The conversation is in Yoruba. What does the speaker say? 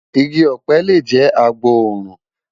Igi ọ̀pẹ lè jẹ́ agbòòrùn.